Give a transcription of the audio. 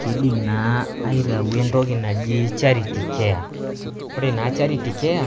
Kidim naa aitau entoki naji charity care, ore naa charity care